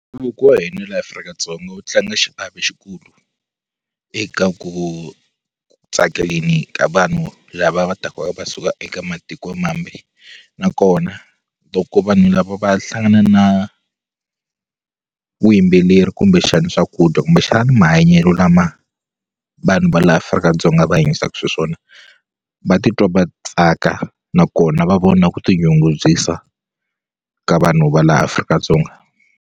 wa hina laha Afrika-Dzonga wu tlanga xiave xikulu eka ku tsakeleni ka vanhu lava va taka va suka eka matikomambe nakona loko vanhu lava va hlangana na vuyimbeleri kumbexani swakudya kumbexani mahanyelo lama vanhu va la Afrika-Dzonga va hanyisaka swiswona va titwa va tsaka nakona va vona ku ti nyungubyisa ka vanhu va la Afrika-Dzonga.